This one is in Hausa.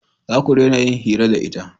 Za ku dena yin hira da ita